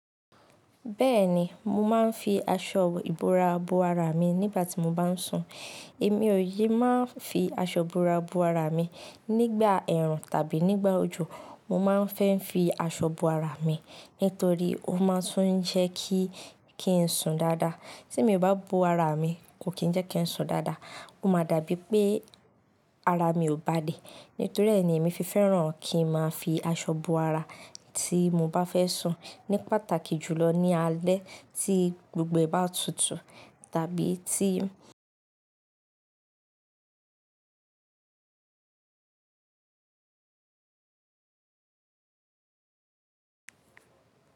Bẹ́ẹ̀ni, mo máa ń fi aṣọ ìbora bo ara mi nígbà tí mo bá ń sùn. Èmi ò ye máa ń fi aṣọ ìbora bo ara mi nígbà ẹ̀rùn tàbí nígbà òjò. Mo máa ń fẹ́ fi aṣọ bo ara mi, nítorí ó máa ń tún ń jẹ́ kí ń sùn dáadáa. Tí èmi o bá bo ara mi, kò kí ń jẹ́ kí ń sùn dáadáa. Ó máa dàbí pé ara mi ò bà lẹ. Nítorí ẹ́ ni èmi fi fẹ́ràn kí n máa fi aṣọ bo ara tí mo bá fẹ́ sùn, ní pàtàkì jùlọ ní alẹ́ tí gbogbo ẹ̀ bá tutù tàbí tí.